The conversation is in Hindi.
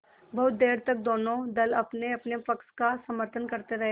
बहुत देर तक दोनों दल अपनेअपने पक्ष का समर्थन करते रहे